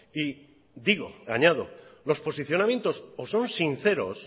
y digo y añado los posicionamientos o son sinceros